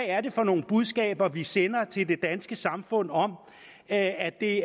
er det for nogle budskaber vi sender til det danske samfund om at det